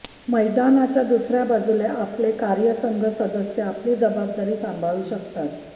मैदानाच्या दुसऱ्या बाजूला आपले कार्यसंघ सदस्य आपली जबाबदारी सांभाळू शकतात